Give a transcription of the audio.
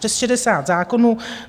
Přes 60 zákonů.